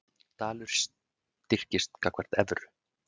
Dalur styrkist gagnvart evru